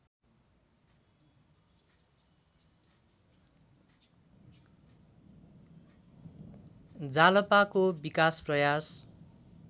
जालपाको विकास प्रयास